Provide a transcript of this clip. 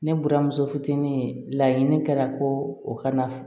Ne buramuso fitinin laɲini kɛra ko o kana